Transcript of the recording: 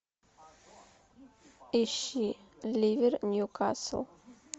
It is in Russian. ищи ливер ньюкасл